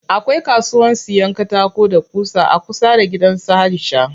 Akwai kasuwan siyan katako da ƙusa a kusa da gidan su Aisha.